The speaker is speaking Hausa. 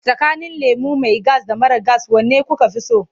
Tsakanin lemo mai gas da mara gas wane kuka fi so?